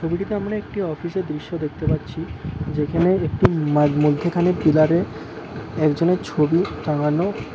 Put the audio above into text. ছবিটিতে আমরা একটি অফিস -এর দৃশ্য দেখতে পাচ্ছি যেখানে একটি ম-মধ্যেখানে পিলার -এ একজনের ছবি টাঙানো।